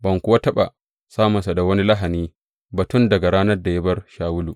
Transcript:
Ban kuwa taɓa samunsa da wani lahani ba tun daga ranar da ya bar Shawulu.